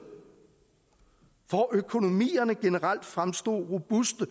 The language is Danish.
hvor økonomierne generelt fremstod robuste